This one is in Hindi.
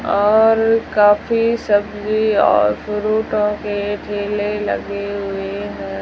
और काफी सब्जी और फ्रूटो के ठेले लगे हुए--